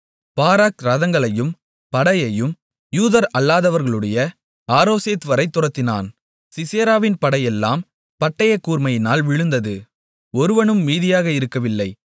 Barak ரதங்களையும் படையையும் யூதர் அல்லாதவர்களுடைய அரோசேத்வரை துரத்தினான் சிசெராவின் படையெல்லாம் பட்டயக்கூர்மையினால் விழுந்தது ஒருவனும் மீதியாக இருக்கவில்லை